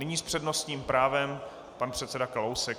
Nyní s přednostním právem pan předseda Kalousek.